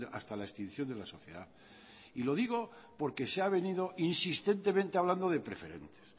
hasta la extinción de la sociedad y lo digo porque se ha venido insistentemente hablando de preferentes